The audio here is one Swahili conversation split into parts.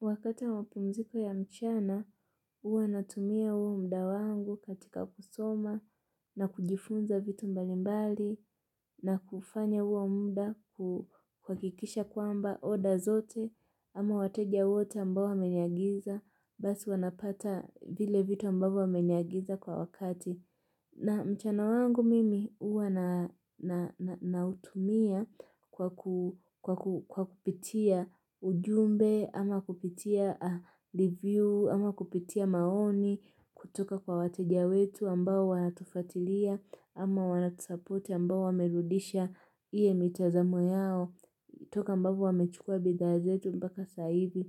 Wakati wa mapumziko ya mchana, huwa natumia huo muda wangu katika kusoma na kujifunza vitu mbalimbali na kufanya huo muda kuhakikisha kwamba order zote ama wateja wote ambao wameniagiza basi wanapata vile vitu ambavyo wameniagiza kwa wakati. Na mchana wangu mimi huwa nautumia kwa kupitia ujumbe, ama kupitia review, ama kupitia maoni, kutoka kwa wateja wetu ambao wanatufuatilia, ama wanatusapoti ambao wamerudisha iwe mitazamo yao, toka ambavyo wamechukua bidhaa zetu mpaka saa hivi.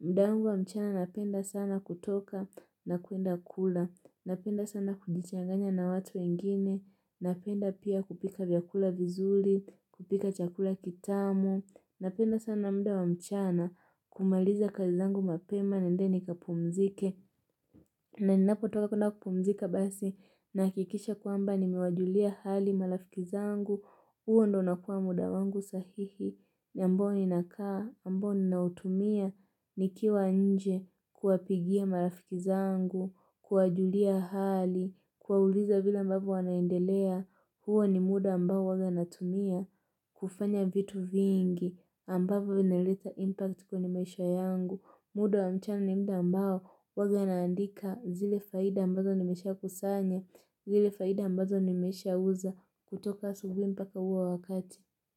Mda wangu wa mchana napenda sana kutoka na kwenda kula Napenda sana kujichanganya na watu wengine Napenda pia kupika vyakula vizuri, kupika chakula kitamu Napenda sana muda wa mchana kumaliza kazi zangu mapema niende ni kapumzike na ninapotoka kwenda kupumzika basi nahakikisha kwamba nimewajulia hali marafiki zangu huo ndiyo unakua muda wangu sahihi ambao ninakaa, ambao ninautumia nikiwa nje kuwapigia marafiki zangu, kuwajulia hali, kuwauliza vile ambavyo wanaendelea. Huo ni muda ambao huwaga natumia kufanya vitu vingi ambavyo vinaleta impact kwenye maisha yangu. Muda wa mchana ni muda ambao huwaga naandika zile faida ambazo nimeshakusanya zile faida ambazo nimeshauza kutoka asubuhi mpaka huo wakati.